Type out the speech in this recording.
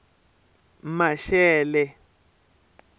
maxele